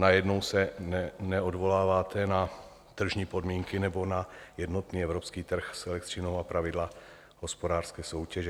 Najednou se neodvoláváte na tržní podmínky nebo na jednotný evropský trh s elektřinou a pravidla hospodářské soutěže.